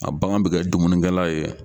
A bagan bɛ kɛ dumunikɛla ye.